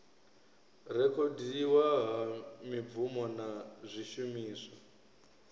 rekhodiwa ha mibvumo na zwishumiswa